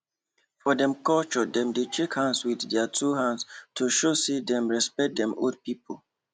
for dem culturedem dey shake hands with their two hands to show say dem respect dem old people